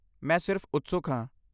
ਮੈਂ ਸਿਰਫ਼ ਉਤਸੁਕ ਹਾਂ।